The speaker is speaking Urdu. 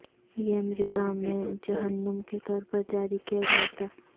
یہ امریکہ میں جہنم کے طور پر جاری کیا گیا تھا